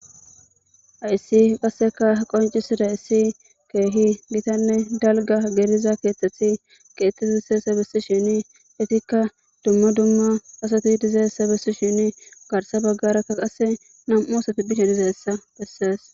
Haysi qase qoncisidaysi kehi dalga gidida ketati ketetizaysa besishin duma duma asati dizaysata besishinne garsa bagara namu' asati bishe dizaysa beses